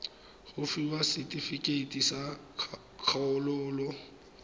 go fiwa setefikeiti sa kgololo